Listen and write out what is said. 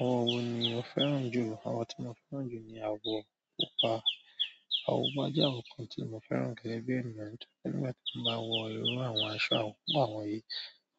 Àwọn wo ni mo fẹ́ràn jù, àwọn tí mo fẹ́ràn jù ni àwọ̀ pupa. Àwọ̀ pupa jẹ́ àwọ̀ kan tí mo fẹ́ràn gẹ́gẹ́ bí ènìyàn. Nígbà tí mo bá wọ irú àwọn aṣọ àwọn pupa wọ̀nyí,